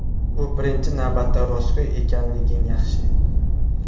U birinchi navbatda ‘Rostgo‘y ekanliging yaxshi.